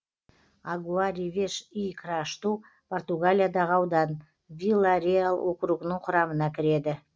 агуа ревеш и крашту португалиядағы аудан вила реал округінің құрамына кіреді